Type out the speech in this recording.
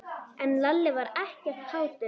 En Lalli var ekkert kátur.